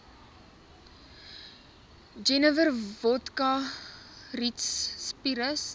jenewer wodka rietsppiritus